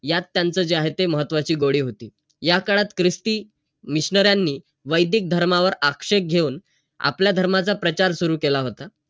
यात त्यांचं जे आहे ते महत्वही गोडी होती. याकाळात ख्रिस्ती missionary नि वैदिक धर्मावर आक्षेप घेऊन, आपल्या धर्माचा प्रचार सुरु केला होता.